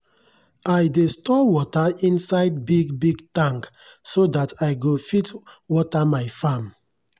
i dey store wata inside big big tank so that i go fit wata my farm.